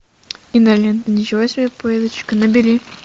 кинолента ничего себе поездочка набери